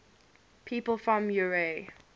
people from eure